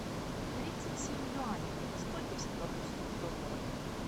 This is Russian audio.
тридцать семь юаней это сколько в сингапурских долларах